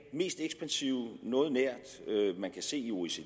mest ekspansive man kan se i oecd